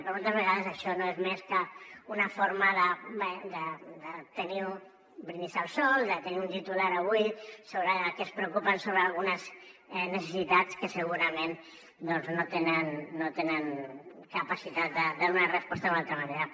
però moltes vegades això no és més que una forma de tenir un brindis al sol de tenir un titular avui sobre que es preocupen sobre algunes necessitats que segurament doncs no tenen capacitat de donar resposta d’una altra manera